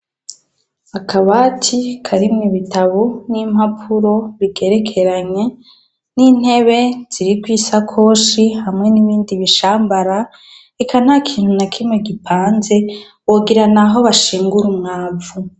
Akabati karimwo ibitabu n'impapuro bigerekeranye, n'intebe ziriko isakoshi, hamwe n'ibindi bishambara. Eka nta kintu na kimwe gipanze, wogira ni aho bashingura umwavu.